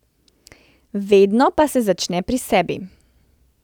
Vedno pa se začne pri sebi.